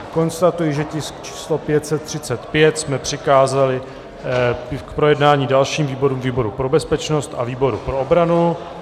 Konstatuji, že tisk číslo 535 jsme přikázali k projednání dalším výborům, výboru pro bezpečnost a výboru pro obranu.